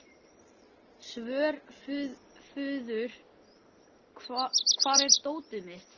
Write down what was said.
Svörfuður, hvar er dótið mitt?